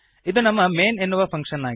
ಇದು ನಮ್ಮ ಮೈನ್ ಎನ್ನುವ ಫಂಕ್ಶನ್ ಆಗಿದೆ